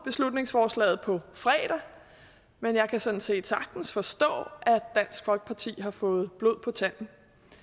beslutningsforslaget på fredag men jeg kan sådan set sagtens forstå at dansk folkeparti har fået blod på tanden